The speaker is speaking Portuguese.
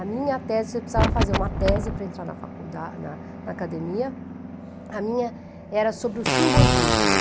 A minha tese, você precisava fazer uma tese para entrar na faculda na na academia, a minha era sobre o simbolismo.